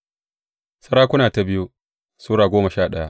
biyu Sarakuna Sura goma sha daya